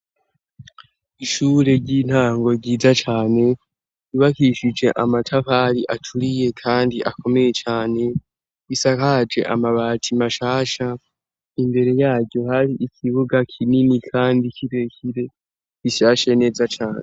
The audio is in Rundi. Ishure ry'intango ryiza cane ibakishije amatafari aturiye, kandi akomeye cane isakaje amabati mashasha imbere yaryo hari ikibuga kinini, kandi kirekire gishashe neza cane.